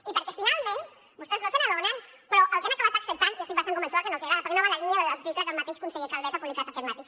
i perquè finalment vostès no se n’adonen però el que han acabat acceptant estic bastant convençuda que no els agrada perquè no va en la línia de l’article que el mateix conseller calvet ha publicat aquest matí